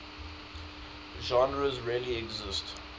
genres really exist